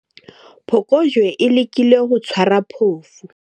phokojwe e lekile ho tshwara phofu